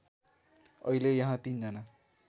अहिले यहाँ ३ जना